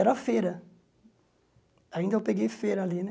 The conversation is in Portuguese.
Era feira, ainda eu peguei feira ali né.